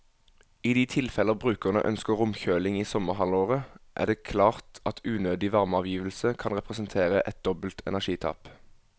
I de tilfeller brukerne ønsker romkjøling i sommerhalvåret, er det klart at unødig varmeavgivelse kan representere et dobbelt energitap.